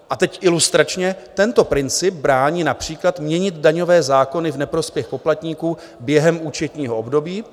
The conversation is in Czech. A teď ilustračně: "Tento princip brání například měnit daňové zákony v neprospěch poplatníků během účetního období."